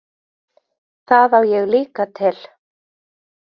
Það á ég líka til.